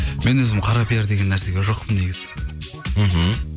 мен өзім қара пиар деген нәрсеге жоқпын негізі мхм